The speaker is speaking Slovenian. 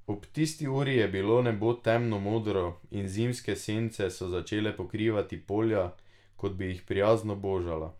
Ob tisti uri je bilo nebo temno modro, in zimske sence so začele pokrivati polja, kot bi jih prijazno božala.